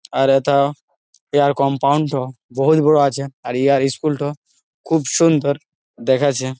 আর এথা ইহার কম্পাউন্ড -ঠো বহুত বড় আছে আর ইহার ইস্কুল ঠো খুব সুন্দর দেখাচ্ছে--